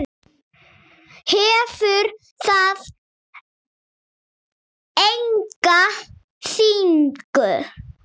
Hefur það enga þýðingu?